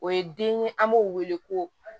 O ye den ye an b'o wele ko